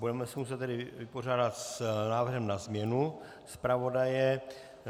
Budeme se muset tedy vypořádat s návrhem na změnu zpravodaje.